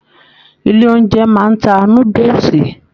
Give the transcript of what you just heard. Ilé oúnjẹ máa n ta núdúsí.